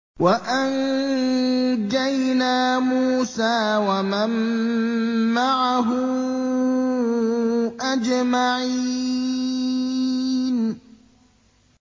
وَأَنجَيْنَا مُوسَىٰ وَمَن مَّعَهُ أَجْمَعِينَ